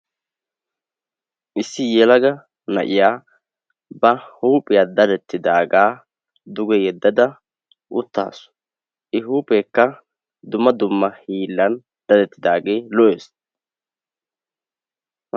issi yelaga na'iya ba huuphiya dadettidaagaa duge yeddada uttaasu. I huupheekka dumma dumma hiillan dadettidaagee lo'ees.